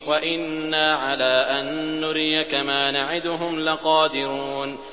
وَإِنَّا عَلَىٰ أَن نُّرِيَكَ مَا نَعِدُهُمْ لَقَادِرُونَ